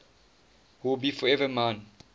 will be forever mine